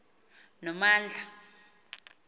nomandla